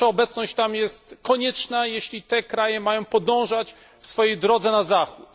Nasza obecność tam jest konieczna, jeśli te kraje mają podążać swoją drogą na Zachód.